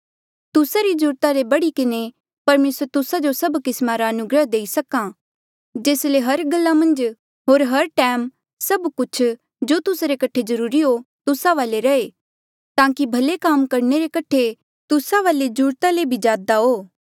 तुस्सा री जरूरता ले बढ़ी किन्हें परमेसर तुस्सा जो सब किस्मा रा अनुग्रह देई सक्हा ऐें जेस ले हर गल्ला मन्झ होर हर टैम सब कुछ जो तुस्सा रे कठे जरूरी हो तुस्सा वाले रहे ताकि भले काम रे कठे तुस्सा वाले जरूरता ले भी ज्यादा हो